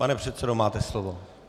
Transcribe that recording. Pane předsedo, máte slovo.